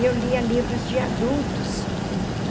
E eu lia livros de adultos.